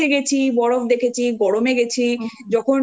যাইনি। মানে শীতে গেছি বরফ দেখেছি গরমে